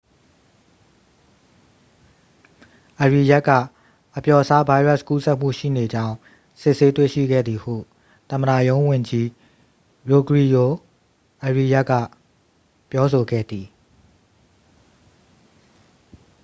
အရီယက်က အပျော့စားဗိုင်းရပ်စ်ကူးစက်မှုရှိနေကြောင်း စစ်ဆေးတွေ့ရှိခဲ့သည်ဟု သမ္မတရုံးဝန်ကြီး ရိုဂရီဂို အရီယက်က ပြောဆိုခဲ့သည်